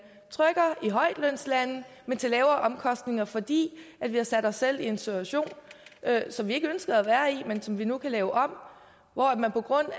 trykker i højtlønslande men til lavere omkostninger fordi vi har sat os selv i en situation som vi ikke ønskede at være i men som vi nu kan lave om hvor man på grund af